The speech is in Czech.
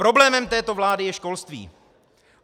Problémem této vlády je školství.